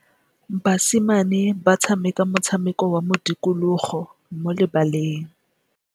Basimane ba tshameka motshameko wa modikologô mo lebaleng.